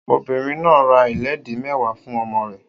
Obìnrin náà ra ìlédìí mẹ́wàá fún ọmọ rẹ̀